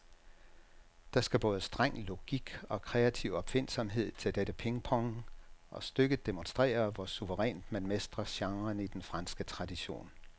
Der skal både streng logik og kreativ opfindsomhed til dette pingpong, og stykket demonstrerer, hvor suverænt man mestrer genren i den franske tradition.